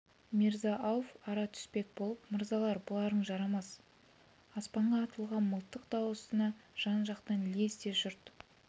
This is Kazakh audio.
мирза-ауф ара түспек болып мырзалар бұларың жарамас аспанға атылған мылтық дауысына жан-жақтан лезде жұрт